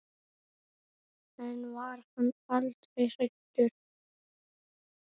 En var hann aldrei hræddur?